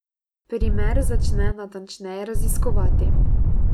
Primer začne natančneje raziskovati.